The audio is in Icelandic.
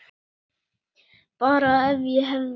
Bara ef og hefði.